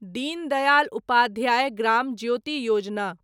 Deen Dayal Upadhyaya Gram Jyoti Yojana